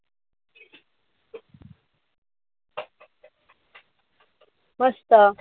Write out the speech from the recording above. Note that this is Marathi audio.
मस्त.